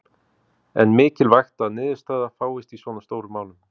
En mikilvægt að niðurstaða fáist í svona stórum málum?